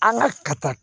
An ka ka taa